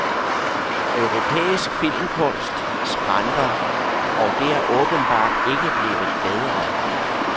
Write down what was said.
Europæisk filmkunst skranter, og det er åbenbart ikke blevet bedre.